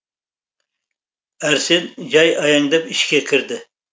әрсен жай аяңдап ішке кірді